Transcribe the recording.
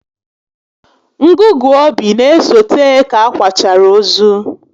Ngụgụ obi n'esote ka a kwachara ozu